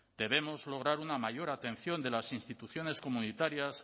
debemos lograr una mayor atención de las instituciones comunitarias